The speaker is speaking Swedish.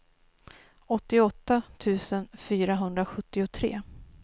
åttioåtta tusen fyrahundrasjuttiotre